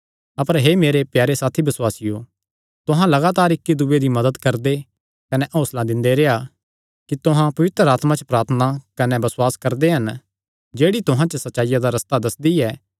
अपर हे मेरे प्यारे साथी बसुआसियो तुहां लगातार इक्की दूये दी मदत करदे कने हौंसला दिंदे रेह्आ कि तुहां पवित्र आत्मा च प्रार्थना कने बसुआस करदे हन जेह्ड़ी तुहां जो सच्चाईया दा रस्ता दस्सदी ऐ